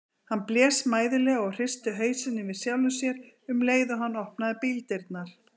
Hann blés mæðulega og hristi hausinn yfir sjálfum sér um leið og hann opnaði bíldyrnar.